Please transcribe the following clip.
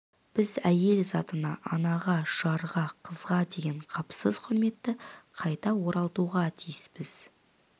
біз әйел затына анаға жарға қызға деген қапысыз құрметті қайта оралтуға тиіспіз